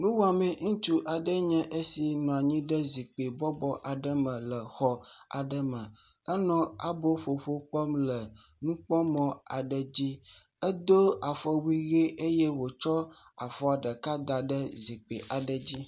Nuwɔameŋutsu aɖe enye esi bɔbɔ nɔ anyi ɖe zikpi bɔbɔ aɖe me le enɔ aboƒoƒo kpɔm le nukpɔmɔ aɖe dzi. Edo afɔwui ʋe eye wòtsɔ afɔ ɖeka da ɖe zikpi aɖe dzi